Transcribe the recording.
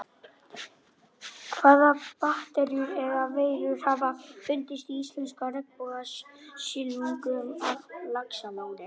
Hvaða bakteríur eða veirur hafa fundist í íslenska regnbogasilungnum að Laxalóni?